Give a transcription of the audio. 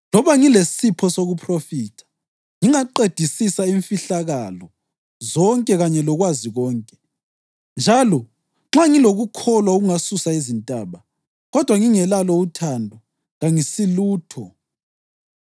Loba ngilesipho sokuphrofitha, ngingaqedisisa imfihlakalo zonke kanye lokwazi konke, njalo nxa ngilokukholwa okungasusa izintaba, kodwa ngingelalo uthando, kangisilutho.